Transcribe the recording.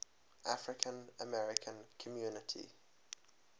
african american community